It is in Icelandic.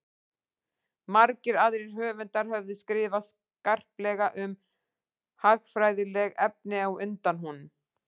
margir aðrir höfundar höfðu skrifað skarplega um hagfræðileg efni á undan honum